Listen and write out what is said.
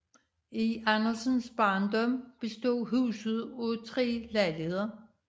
Andersens barndom bestod huset af tre lejligheder